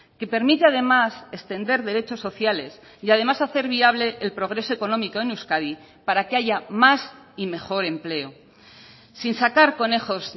que permite además extender derechos sociales y además hacer viable el progreso económico en euskadi para que haya más y mejor empleo sin sacar conejos